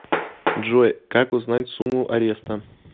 джой как узнать сумму ареста